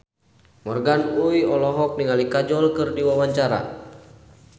Morgan Oey olohok ningali Kajol keur diwawancara